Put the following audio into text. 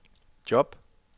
job